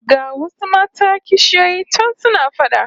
Ga wasu mata kishiyoyi can suna fada